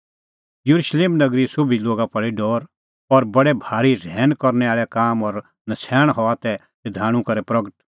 येरुशलेम नगरीए सोभी लोगा पल़ी डौर और बडै भारी रहैन करनै आल़ै काम और नछ़ैण हआ तै शधाणूं करै प्रगट